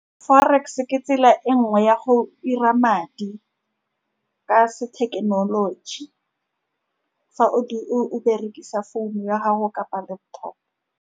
Forex-e ke tsela e nngwe ya go'ira madi ka se thekenoloji, fa o berekisa founu ya gago kapa laptop-o.